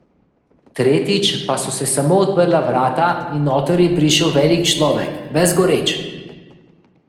Tretjič pa so se samo odprla vrata in noter je prišel velik človek, ves goreč.